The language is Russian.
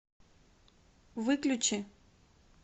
выключи